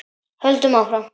Höldum áfram.